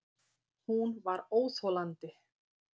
Hún var óþolandi.